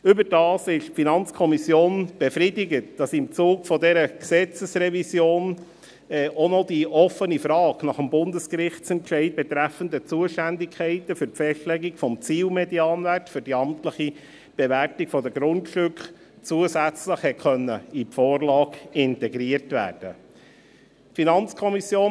Überdies ist die FiKo befriedigt, dass im Zuge dieser Gesetzesrevision auch noch die offene Frage nach dem Bundesgerichtsentscheid betreffend die Zuständigkeiten für die Festlegung des Zielmedianwerts für die amtliche Bewertung der Grundstücke zusätzlich in die Vorlage integriert werden konnte.